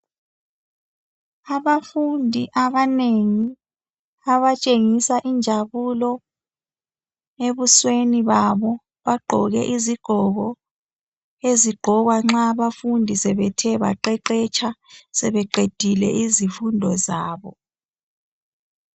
Abafundi abanengi abatshengisa injabulo, ebusweni babo. Bagqoke izigqoko ezigqokwa nxa abafundi sebethe baqeqetsha. Sebeqedile izifundo zabo.